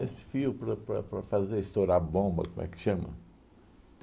Esse fio para para para fazer estourar bomba, como é que chama?